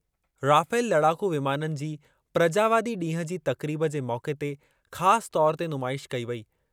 Rafale लड़ाकू विमाननि जी प्रजावादी ॾींहुं जी तक़रीब जे मौक़े ते ख़ासि तौरु ते नुमाइश कई वेई।